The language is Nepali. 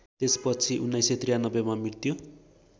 त्यसपछि १९९३मा मृत्यु